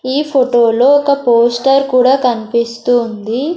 ఈ ఫోటో లో ఒక పోస్టర్ కూడా కనిపిస్తు ఉంది.